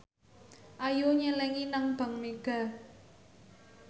Ayu nyelengi nang bank mega